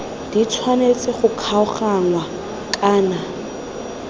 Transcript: di tshwanetse go kgaoganngwa kana